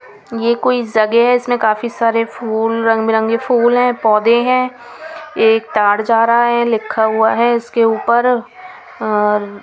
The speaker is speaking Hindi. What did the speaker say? यह कोई जगह है इसमें काफी सारे फूल रंग बिरंगे फूल हैं पौधे हैं एक तार जा रहा है लिखा हुआ है इसके ऊपर और.